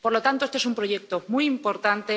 Por lo tanto, este es un proyecto muy importante.